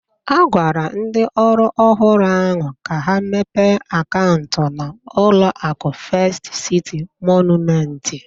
A gwara ndị ọrụ ọhụrụ ahụ ka ha mepe akaụntụ na ụlọaku Fest Citi Mọnument